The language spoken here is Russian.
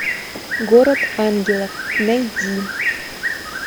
город ангелов найди